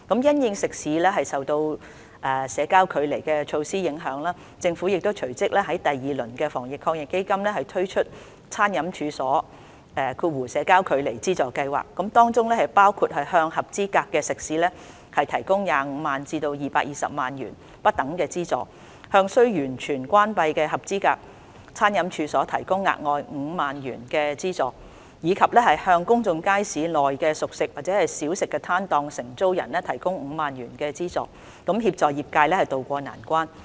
因應食肆受到社交距離措施影響，政府隨即於第二輪的防疫抗疫基金推出餐飲處所資助計劃，包括向合資格食肆提供25萬元至220萬元不等的資助，向須完全關閉的合資格餐飲處所提供額外5萬元的資助，以及向公眾街市內的熟食/小食攤檔的承租人提供5萬元資助，以協助業界渡過難關。